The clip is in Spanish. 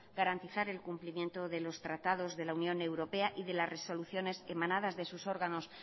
garantizar el cumplimiento de los tratados de la unión europea y de las resoluciones emanadas de sus órganos